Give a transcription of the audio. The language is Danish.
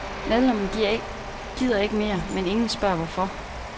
Medlemmerne gider ikke mere, men ingen spørger hvorfor.